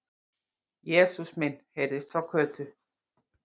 Jesús minn! heyrðist frá Kötu.